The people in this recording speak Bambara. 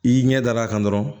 I ɲɛ dar'a kan dɔrɔn